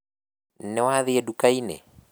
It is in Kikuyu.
Nĩwathiĩ nduka-inĩ?